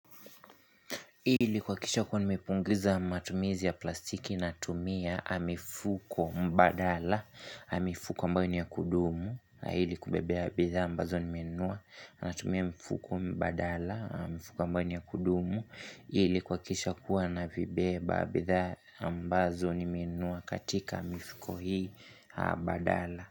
Ili kuhakisha kuwa nimepunguza matumizi ya plastiki natumia mifuko mbadala, mifuko ambayo ni ya kudumu ili kubebea bidhaa ambazo nimenunua. Natumia mifuko mbadala, mifuko ambayo ni ya kudumu. Ili kuhakikisha kuwa navibeba bidhaa ambazo nimenunua katika mifuko hii badala.